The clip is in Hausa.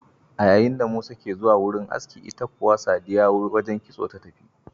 A yayinda Musa ke zuwa wurin aski, ita kuwa Sadiya wajen kitso ta tafi.